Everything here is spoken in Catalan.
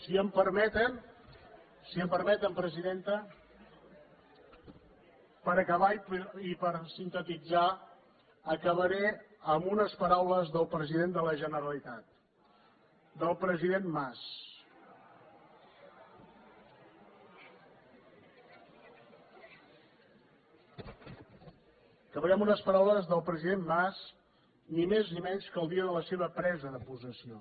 si em permeten presidenta per acabar i sintetitzar acabaré amb unes paraules del president de la generalitat del president mas acabaré amb unes paraules del president mas ni més ni menys que el dia de la seva presa de possessió